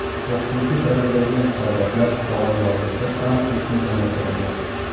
O‘qituvchi tayyorlaydigan hisobotlar, qog‘ozbozliklar soni keskin kamaytirildi.